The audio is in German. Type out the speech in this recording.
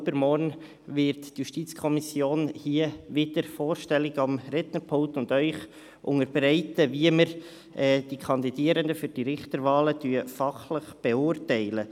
Übermorgen wird die JuKo hier wieder am Rednerpult vorstellig, um Ihnen zu unterbreiten, wie wir die verschiedenen Kandidierenden für die Richterwahlen fachlich beurteilen.